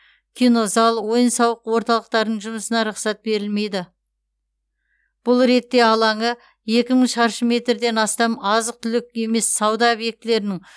кинозал ойын сауық орталықтардың жұмысына рұқсат етілмейді бұл ретте алаңы екі мың шаршы метрден астам азық түлік емес сауда объектілерінің